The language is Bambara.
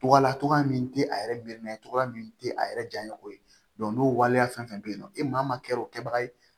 Tɔgɔla cogoya min tɛ a yɛrɛ birin na togoya min tɛ a yɛrɛ janya ye o ye n'o waleya fɛn fɛn bɛ yen nɔ e maa ma kɛ o kɛbaga ye